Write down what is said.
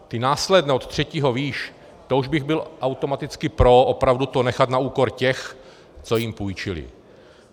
Ty následné od třetího výš, to už bych byl automaticky pro opravdu to nechat na úkor těch, co jim půjčili.